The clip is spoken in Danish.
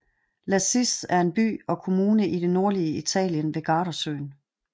Lazise er en by og kommune i det nordlige Italien ved Gardasøen